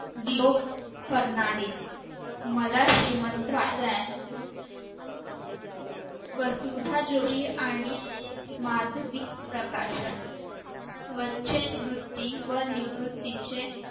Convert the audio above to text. Fernandez मला श्रीमंत व्हायचे आहे व स्वतः जोशी आणि माधवी प्रकाशन स्वच्छंद वृत्ती व निवृत्तीचे